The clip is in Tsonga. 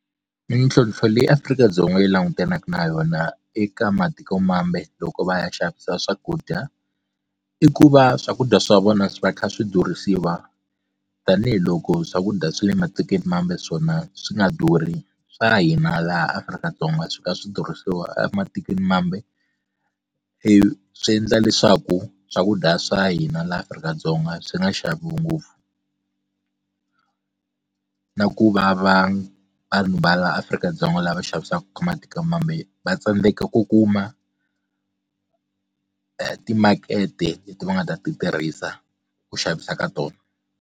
Mintlhontlho leyi Afrika-Dzonga yi langutanaka na yona eka matikomambe loko va ya xavisa swakudya i ku va swakudya swa vona va kha swi durha yisiwa tanihiloko swakudya swa le matikweni mambe swona swi nga durhi swa hina laha Afrika-Dzonga swi ka swi durhisa ematikweni mambe ivi swi endla leswaku swakudya swa hina laha Afrika-Dzonga swi nga xaviwi ngopfu na ku vava vanhu va la Afrika-Dzonga lava xavisaka ka matikomambe va tsandzeka ku kuma timakete leti va nga ta ti tirhisa ku xavisa ka tona.